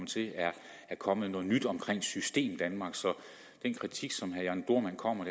til er kommet noget nyt omkring systemdanmark så den kritik som herre jørn dohrmann kommer